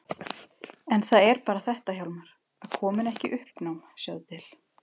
En það er bara þetta Hjálmar: Að koma henni ekki í uppnám, sjáðu til.